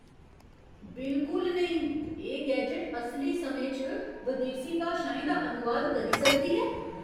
बिलकुल नेईं! एह् गैजट असली समें च बदेसी भाशाएं दा अनुवाद करी सकदी ऐ?